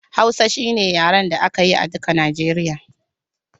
Hausa shine yaren da aka yi a duka Nijeriya